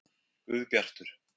Guðbjartur